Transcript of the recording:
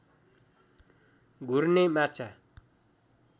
घुर्ने माछा